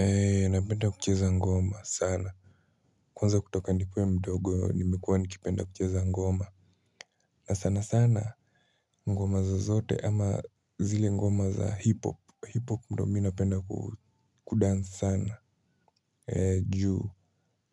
Ee napenda kucheza ngoma sana kwanza kutoka nikuwe mdogo nimekuwa nikipenda kucheza ngoma na sana sana ngoma zozote ama zile ngoma za hip-hop hip-hop ndo mi napenda kudansi sana juu